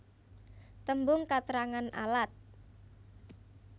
Tembung katrangan alat